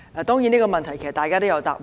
當然，這個問題其實大家都有答案。